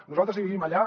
nosaltres vivim allà